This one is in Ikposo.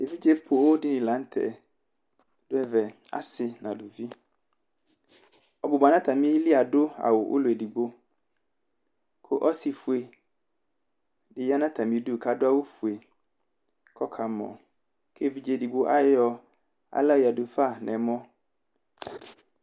evidze pooo dini lanu tɛdʋ ɛvɛ:esi nu aluviɔbuba nʋ atami'li adʋ awu blɔ edigbokʋ ɔsi fue di ya nʋ atami'du, kʋ adʋ awʋ ƒue, kʋ ɔkamɔkʋ evidze edigbo ayɔ aɣla yadufa nʋ ɛmɔ